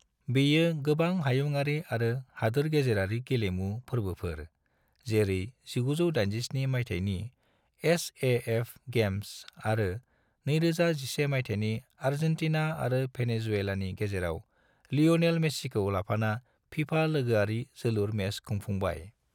बेयो गोबां हायुङारि आरो हादोर-गेजेरारि गेलेमु फोर्बोफोर जेरै 1987 मायथायनि एस.ए.एफ गेम्स आरो 2011 मायथायनि आर्जेंटीना आरो भेनेजुएलानि गेजेराव लियोनेल मेस्सीखौ लाफाना फीफा लोगोआरि जोलुर मेच खुंफुंबाय।